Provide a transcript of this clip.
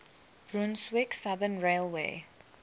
brunswick southern railway